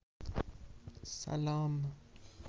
салам